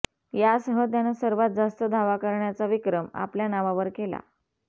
यासह त्यानं सर्वात जास्त धावा करण्याचा विक्रम आपल्या नावावर केला